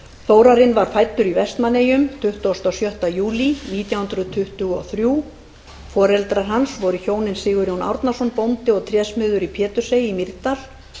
þórarinn var fæddur í vestmannaeyjum tuttugasta og sjötta júlí nítján hundruð tuttugu og þrír foreldrar hans voru hjónin sigurjón árnason bóndi og trésmiður í pétursey í mýrdal